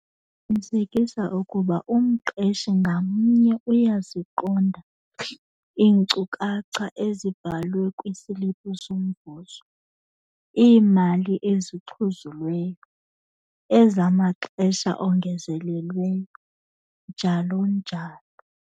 Qinisekisa ukuba umqeshi ngamnye uyaziqonda iinkcukacha ezibhalwe kwisiliphu somvuzo - iimali ezixhuzulweyo, ezamaxesha ongezelelweyo, njalo njalo.